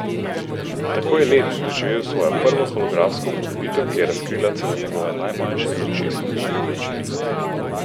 Tako je led doživel svojo prvo holografsko upodobitev, ki je razkrila celo njegove najmanjše z očesom vidne značilnosti.